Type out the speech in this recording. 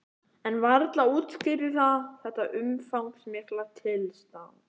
En varla útskýrði það þetta umfangsmikla tilstand.